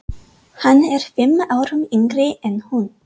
Hann er fimm árum yngri en hún.